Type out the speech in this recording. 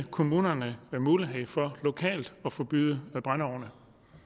kommunerne mulighed for lokalt at forbyde brændeovne